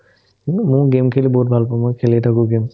কিন্তু ময়ো game খেলি বহুত ভাল পাওঁ মই খেলিয়ে থাকো game